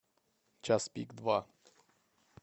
час пик два